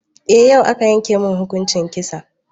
Eh, yau aka yanke mai hukuncin kisa.